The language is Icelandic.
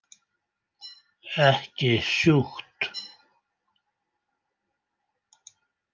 Ekki sjúkt.